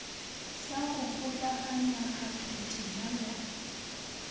sa go kgokaganya kgathotema ya